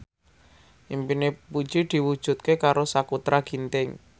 impine Puji diwujudke karo Sakutra Ginting